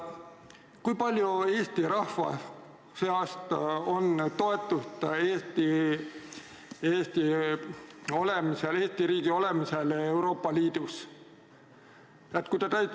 Kui palju on Eesti rahva seas toetust Eesti riigi olemisele Euroopa Liidus?